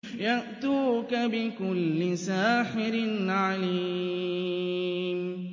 يَأْتُوكَ بِكُلِّ سَاحِرٍ عَلِيمٍ